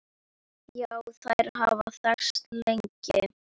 Já, þær hafa þekkst lengi.